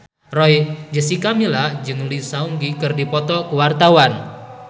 Jessica Milla jeung Lee Seung Gi keur dipoto ku wartawan